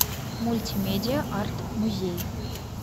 мультимедиа арт музей